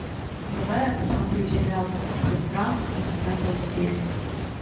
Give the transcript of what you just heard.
давай я посмотрю сериал пространство пятая серия